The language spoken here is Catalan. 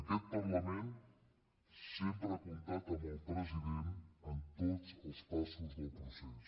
aquest parlament sempre ha comptat amb el president en tots els passos del procés